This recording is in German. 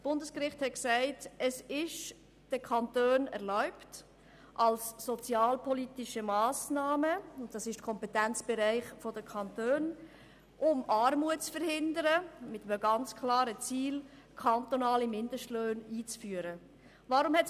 Es befand, es sei den Kantonen erlaubt, als sozialpolitische Massnahme – diese liegen im Kompetenzbereich der Kantone – mit einem klaren Ziel kantonale Mindestlöhne einzuführen, um Armut zu verhindern.